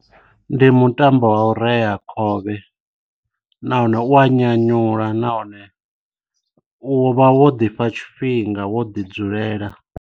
Ndi mutambo wa u rea khovhe nahone u a nyanyula nahone u vha wo ḓifha tshifhinga wo ḓi dzulela.